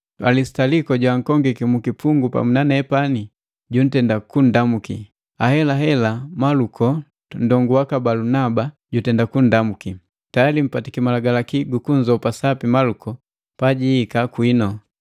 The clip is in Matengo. Alisitaliko joakongiki mukipungu pamu nanepani juntenda kundamuki, ahelahela Maluko nndongu waka Balunaba jutenda kundamuki. Tayali mpatiki malagalaki gu kunzopa sapi Maluko pajiika kwinu.